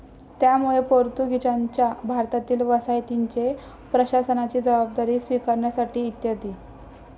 त्यामुळे पोर्तुगीजांच्या भारतातील वसाहतींचे प्रशासनाची जबाबदारी स्वीकारण्यासाठी इ.